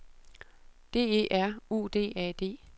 D E R U D A D